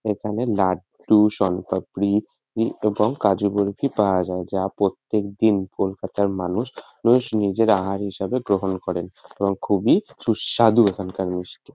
এখানে লাড্ডু শোনপাপড়ি - ই এবং কাজু বরফি পাওয়া যায়। যা প্রত্যেকদিন কলকাতা - র মানুষ মানুষ নিজের আহার হিসেবে গ্রহণ করেন। এবং খুবই সুস্বাদু এখানকার মিষ্টি ।